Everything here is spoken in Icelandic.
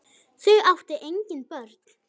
Þau áttu engin börn.